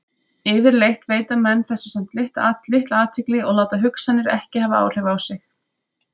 Yfirleitt veita menn þessu samt litla athygli og láta hugsanirnar ekki hafa áhrif á sig.